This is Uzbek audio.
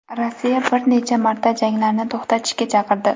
Rossiya bir necha marta janglarni to‘xtatishga chaqirdi .